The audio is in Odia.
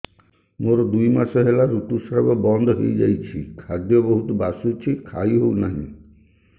ମୋର ଦୁଇ ମାସ ହେଲା ଋତୁ ସ୍ରାବ ବନ୍ଦ ହେଇଯାଇଛି ଖାଦ୍ୟ ବହୁତ ବାସୁଛି ଖାଇ ହଉ ନାହିଁ